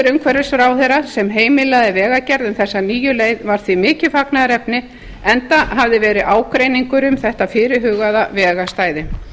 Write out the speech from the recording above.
umhverfisráðherra sem heimilaði vegagerð um þessa nýju leið var því mikið fagnaðarefni enda hafði verið ágreiningur um þetta fyrirhugaða vegarstæði